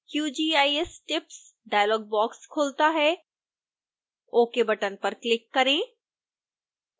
qgis tips dialogue box खुलता है ok button पर क्लिक करें